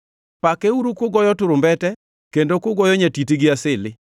Pakeuru kugoyo turumbete, kendo kugoyo nyatiti gi asili,